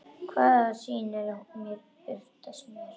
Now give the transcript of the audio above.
Hvaða sýnir birtast mér?